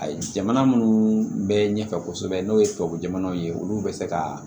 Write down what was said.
Ayi jamana munnu bɛ ɲɛfɛ kosɛbɛ n'o ye tubabu jamanaw ye olu bɛ se ka